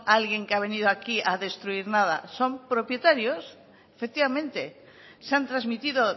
alguien que ha venido aquí a destruir nada son propietarios efectivamente se han transmitido